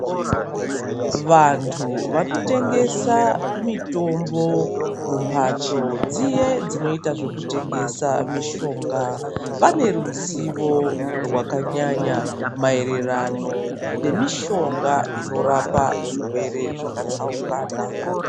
Vantu vanotengesa mitombo mumpatso dziya dzinoita zvekutengesa mushonga vane ruzivo rwakanyanya maererano nemushonga inorapa zvirwere zvakatsaukana.